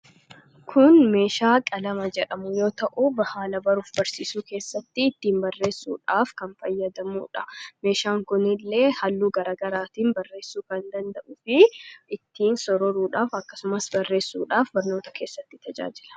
kun meeshaa qalama jedhamu yoo ta'u haala baruufi barsiisuu keessatti ittiin barreessuudhaaf kan fayyadamuudha meeshaan kunillee halluu garagaraatiin barreessuu kan danda'u fi ittiin sororuudhaaf akkasumas barreessuudhaaf barnoota keessatti tajaajila